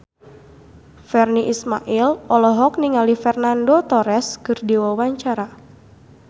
Virnie Ismail olohok ningali Fernando Torres keur diwawancara